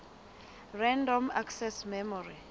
random access memory